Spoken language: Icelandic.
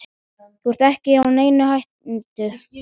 Þú ert ekki í neinni hættu.